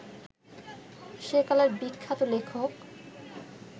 সেকালের বিখ্যাত লেখক